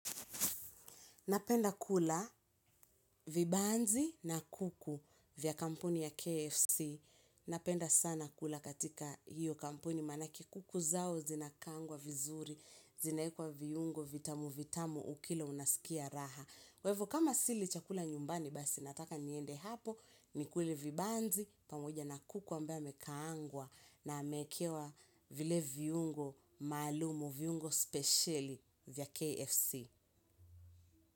Napenda kula vibanzi na kuku vya kampuni ya KFC. Napenda sana kula katika hiyo kampuni. Maanake kuku zao zinakaangwa vizuri, zinaekwa viungo vitamu vitamu ukila unasikia raha. Kwa ivo kama sili chakula nyumbani basi nataka niende hapo, nikule vibanzi pamoja na kuku ambaye amekaangwa na ameekewa vile viungo maalumu, viungo spesheli vya KFC.